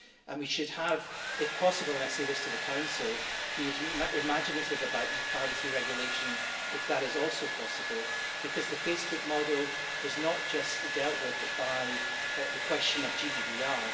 And we should if possible and I say this to the Council be imaginative about e privacy regulation if that is also possible, because the Facebook model was not just dealt with by the question of GDPR.